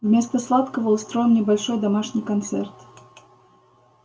вместо сладкого устроим небольшой домашний концерт